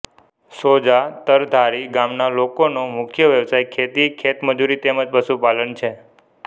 Sousa તરધારી ગામના લોકોનો મુખ્ય વ્યવસાય ખેતી ખેતમજૂરી તેમ જ પશુપાલન છે